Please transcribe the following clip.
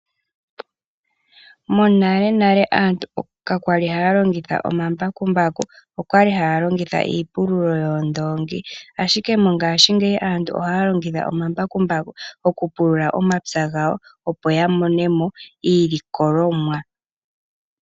Monalenale aantu ka kwali haya longitha oma mbakumbaku, okwali haya longitha iipululo yoondongi ashike mongashingeyi aantu ohaya longitha omambakumbaku oku pulula omapya gawo, opo ya monemo iilikolomwa.